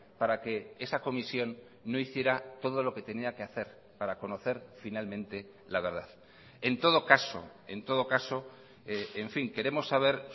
para que esa comisión no hiciera todo lo que tenía que hacer para conocer finalmente la verdad en todo caso en todo caso en fin queremos saber